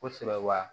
Kosɛbɛ wa